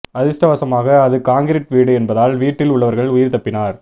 அதிர்ஷ்டவசமாக அது காங்கிரீட் வீடு என்பதால் வீட்டில் உள்ளவர்கள் உயிர் தப்பினார்